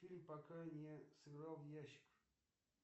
фильм пока не сыграл в ящик